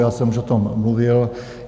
Já jsem už za tom mluvil.